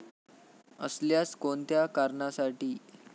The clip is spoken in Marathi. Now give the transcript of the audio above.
असल्यास कोणत्या कारणासाठी?